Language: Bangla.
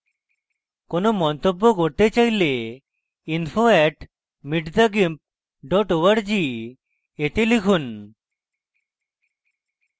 কোনো মন্তব্য করতে চাইলে info @meetthegimp org তে লিখুন